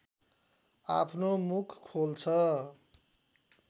आफ्नो मुख खोल्छ